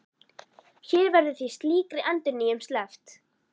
Hér verður því slíkri endurnýjun sleppt.